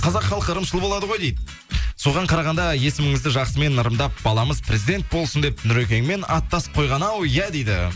қазақ халқы ырымшыл болады ғой дейді соған қарағанда есіміңізді жақсымен ырымдап баламыз президент болсын деп нұрекеңмен аттас қойған ау иә дейді